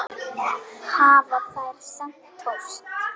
Hafa þær sent póst?